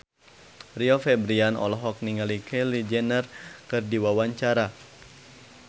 Rio Febrian olohok ningali Kylie Jenner keur diwawancara